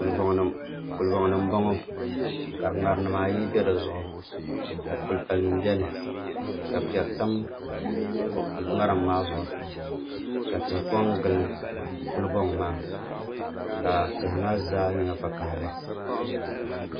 Kuli boŋ ni n boŋo ka ŋarim nim ayi bɛ dizuɣu ka kuli pali nim biɛni ka piɛri tam ŋarim maa zuɣu ka tihi ko n gili kuli boŋ maa ka tihi maa zaa nyɛ vakaɣali